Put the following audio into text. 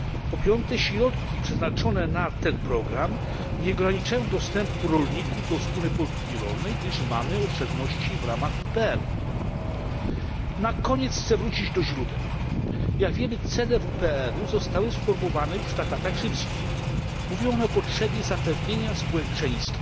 Po piąte, środki przeznaczone na ten program nie ograniczają dostępu rolników do Wspólnej Polityki Rolnej, gdyż mamy oszczędności w ramach WPRu. Na koniec chcę wrócić do źródeł. Jak wiemy cele WPRu zostały sformułowane już w traktatach rzymskich. Mówią one o potrzebie zapewnienia społeczeństwu